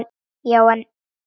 Já, en.